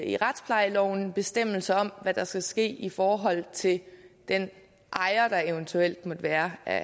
i retsplejeloven en bestemmelse om hvad der skal ske i forhold til den ejer der eventuelt måtte være af